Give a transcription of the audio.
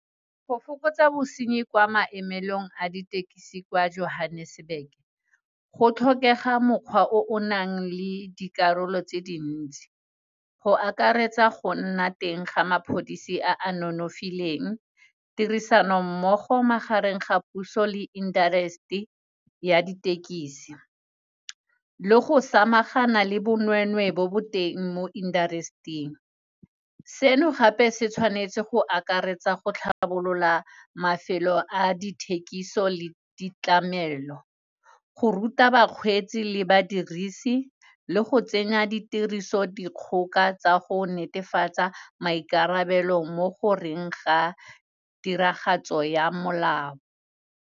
Go fokotsa bosenyi kwa maemelong a ditekisi kwa Johannesburg, go tlhokega mokgwa o o nang le dikarolo tse dintsi, go akaretsa go nna teng ga mapodisi a nonofileng, tirisano mmogo magareng ga puso le industry ya ditekisi le go samagana le bonwenwe bo bo teng mo industry-ing. Seno gape se tshwanetse go akaretsa go tlhabolola mafelo a dithekiso le ditlamelo, go ruta bakgwetsi le badirisi le go tsenya ditiriso dikgoka tsa go netefatsa maikarabelo mo goreng ga tiragatso ya molao.